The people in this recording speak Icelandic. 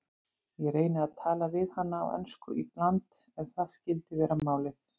Ég reyni að tala við hana á ensku í bland ef það skyldi vera málið.